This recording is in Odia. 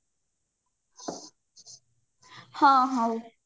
ହଁ ହଉ